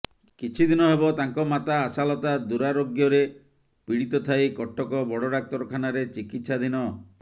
କିଛିଦିନ ହେବ ତାଙ୍କ ମାତା ଆଶାଲତା ଦୂରାରୋଗ୍ୟରେ ପୀଡ଼ିତ ଥାଇ କଟକ ବଡ଼ଡାକ୍ତରଖାନାରେ ଚିକିତ୍ସାଧୀନ